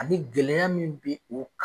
A ni gɛlɛya min be o kan